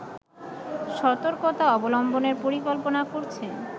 সতর্কতা অবলম্বনের পরিকল্পনা করছে